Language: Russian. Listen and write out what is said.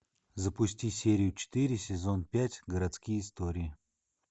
запусти серию четыре сезон пять городские истории